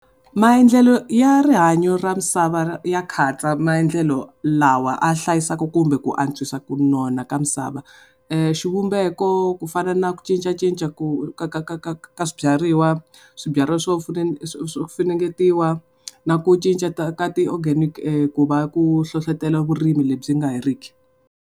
Maendlelo ya rihanyo ra misava ya katsa maendlelo lawa a hlayisaka kumbe ku antswisa ku nona ka misava. Xivumbeko ku fana na ku cincacinca ku ka ka ka ka swibyariwa, swibyariwa swo swo swo funengetiwa, na ku cinca ta ka ti-organic ku va ku hlohletela vurimi le byi nga heriki.